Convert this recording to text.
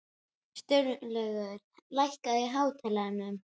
Sturlaugur, lækkaðu í hátalaranum.